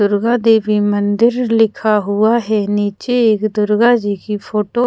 दुर्गा देवी मंदिर लिखा हुआ है नीचे एक दुर्गा जी की फोटो --